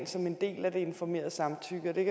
som en del af det informerede samtykke og det